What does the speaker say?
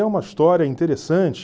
É uma história interessante...